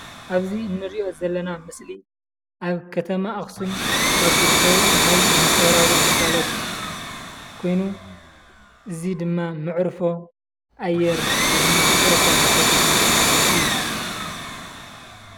ኣብዚ እንሪኦ ዘለና ምስሊ አብ ከተማ አኽሱም ካብ ዝርከቡ ናይ ማሕበራዊ ግልጋሎት ኮይኑ እዚ ድማ መዕርፎ አየር ወይ ድማ መዕርፎ ነፈርቲ እዩ።